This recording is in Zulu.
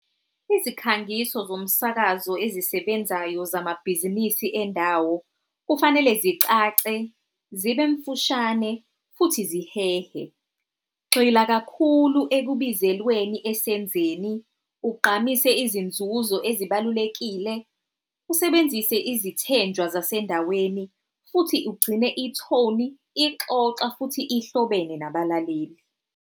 Izikhangiso zomsakazo ezisebenzayo zamabhizinisi endawo kufanele zicace, zibemfushane, futhi zihehe. Gxila kakhulu ekubizelweni esenzeni, ugqamise izinzuzo ezibalulekile, usebenzise izithenjwa zasendaweni, futhi ugcine ithoni ixoxa futhi ihlobene nabalaleli.